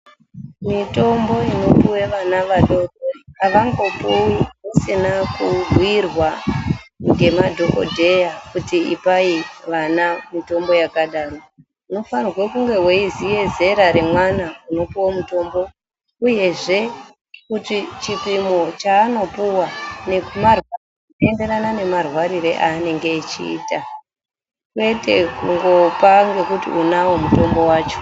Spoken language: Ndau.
Mitombo inopuwa vana vadoko avangoouwi usina kuubhuirwa ngemadhokodheya kuti ipai vana mitombo yakadaro, unofanirwa kunge weiziya zera remwana unopuwa mutombo uyezve kuti chipimo chaanopuwa zvinoenderana nemarwarire aanenge echiita kwete kungopa ngekuti unawo mutombo wacho.